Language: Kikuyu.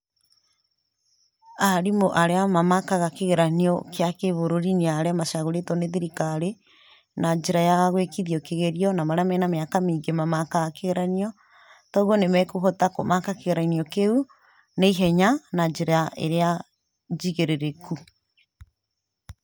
Arimũ arĩa mamakaga kĩgeranio kĩa kĩbũrũri nĩ arĩa macagũrĩtwo nĩ thirikari na njĩra ya gwĩkithio kĩgerio, na marĩa mena mĩaka mĩingĩ mamakaga kĩgeranio; kogwo nĩmekũhota kũmaka kĩgeranio kĩu na ihenya na njĩra ĩrĩa njigĩrĩrĩku.